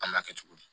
An m'a kɛ cogo di